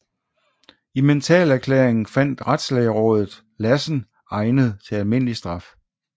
I mentalerklæringen fandt retslægerådet Lassen egnet til almindelig straf